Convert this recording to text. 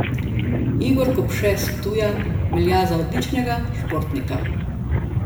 Igor Kopše s Ptuja velja za odličnega športnika.